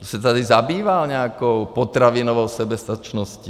Kdo se tady zabýval nějakou potravinovou soběstačností?